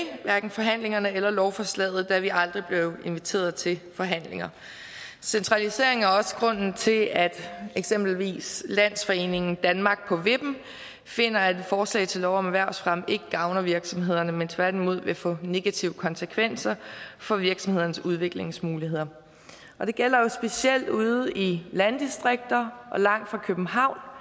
hverken forhandlingerne eller lovforslaget da vi aldrig blev inviteret til forhandlinger centraliseringen er også grunden til at eksempelvis landsforeningen danmark på vippen finder at et forslag til lov om erhvervsfremme ikke gavner virksomhederne men tværtimod vil få negative konsekvenser for virksomhedernes udviklingsmuligheder det gælder jo specielt ude i landdistrikter og langt fra københavn